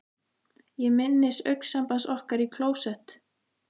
Ég minnist augnsambands okkar í klósett